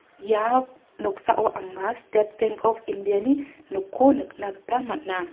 ia noksao anga stet benk op india ni nokko nikna gita man·a.